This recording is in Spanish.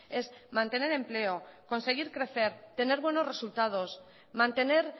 es mantener empleo conseguir crecer tener buenos resultados mantener